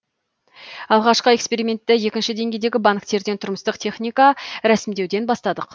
алғашқы экспериментті екінші деңгейдегі банктерден тұрмыстық техника рәсімдеуден бастадық